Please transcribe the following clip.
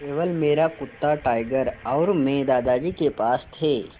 केवल मेरा कुत्ता टाइगर और मैं दादाजी के पास थे